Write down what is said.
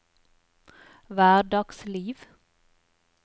hverdagsliv